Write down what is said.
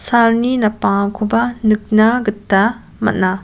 salni napangakoba nikna gita man·a.